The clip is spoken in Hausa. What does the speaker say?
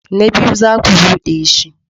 Na biyu, za ku bude shi.